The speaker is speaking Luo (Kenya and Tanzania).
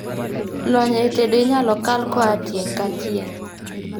Lony e tedo inyalo kal koa tieng' ka tieng'